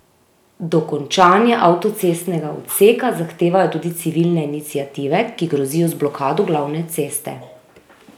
Dokončanje avtocestnega odseka zahtevajo tudi civilne iniciative, ki grozijo z blokado glavne ceste.